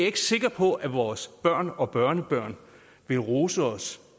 ikke sikker på at vores børn og børnebørn vil rose os